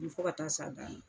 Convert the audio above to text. Ni fɔ ka t'a s'a dan na